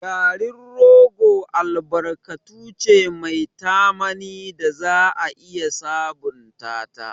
Garin rogo albarkatu ce mai tamani da za a iya sabunta ta.